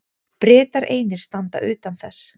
Bretar einir standa utan þess.